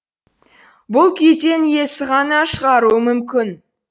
бұл күйден иесі ғана шығаруы мүмкін